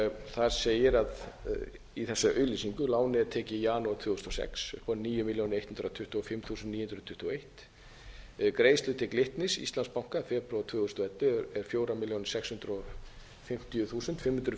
þar segir í þessari auglýsingu lánið er tekið í janúar tvö þúsund og sex upp á níu milljónir hundrað tuttugu og fimm þúsund níu hundruð tuttugu og eitt greiðslur til glitnis íslandsbanka í janúar tvö þúsund og ellefu er fjórar milljónir sex hundruð og fimmtíu þúsund fimm hundruð